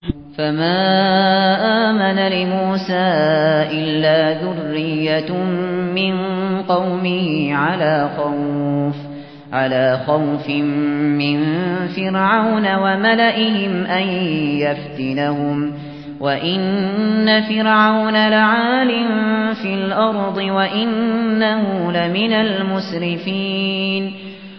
فَمَا آمَنَ لِمُوسَىٰ إِلَّا ذُرِّيَّةٌ مِّن قَوْمِهِ عَلَىٰ خَوْفٍ مِّن فِرْعَوْنَ وَمَلَئِهِمْ أَن يَفْتِنَهُمْ ۚ وَإِنَّ فِرْعَوْنَ لَعَالٍ فِي الْأَرْضِ وَإِنَّهُ لَمِنَ الْمُسْرِفِينَ